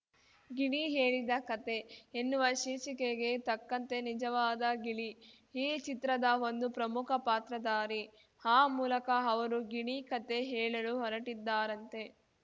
ಗಿಣಿ ಹೇಳಿದ ಕತೆ ಎನ್ನುವ ಶೀರ್ಷಿಕೆಗೆ ತಕ್ಕಂತೆ ನಿಜವಾದ ಗಿಳಿ ಈ ಚಿತ್ರದ ಒಂದು ಪ್ರಮುಖ ಪಾತ್ರದಾರಿ ಆ ಮೂಲಕ ಅವರು ಗಿಣಿ ಕತೆ ಹೇಳಲು ಹೊರಟಿದ್ದಾರಂತೆ